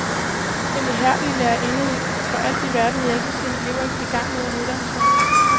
Den ihærdige lærerinde vil for alt i verden hjælpe sine elever i gang med en uddannelse.